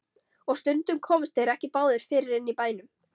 Og stundum komust þeir ekki báðir fyrir inni í bænum.